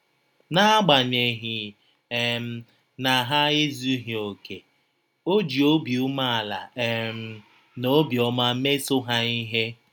N’agbanyeghị um na ha ezụghị ọkè, ọ ji obi umeala um na obiọma mesọ ha ihe.